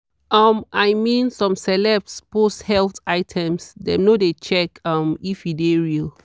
um i mean some celeb post health items dem no de check um if e de real.